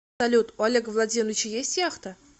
салют у олега владимировича есть яхта